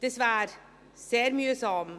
Das wäre sehr mühsam.